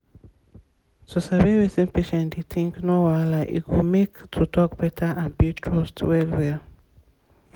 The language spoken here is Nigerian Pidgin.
to sabi wetin patient dey think no wahala e go make to talk better and build trust well well.